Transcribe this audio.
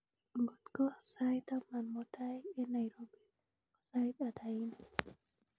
ng'otko sait taman mutai en nairobi ko sait ata en yu